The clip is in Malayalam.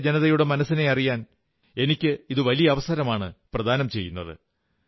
രാജ്യത്തെ ജനതതിയുടെ മനസ്സിനെ അറിയാൻ എനിക്കിത് വലിയ അവസരമാണു പ്രദാനം ചെയ്യുന്നത്